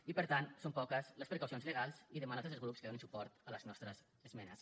i per tant són poques les precaucions legals i demano a tots els grups que donin suport a les nostres esmenes